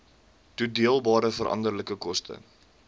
toedeelbare veranderlike koste